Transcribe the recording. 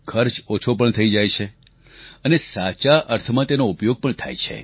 ખર્ચ ઓછો પણ થઈ જાય છે અને સાચા અર્થમાં તેનો ઉપયોગ પણ થાય છે